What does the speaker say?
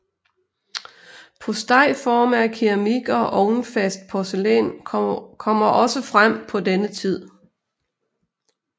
Postejforme af keramik og ovnfast porcelæn kommer også frem på denne tid